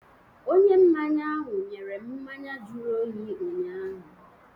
Onye mmanya ahụ nyere m mmanya jụrụ oyi ụnyaahụ.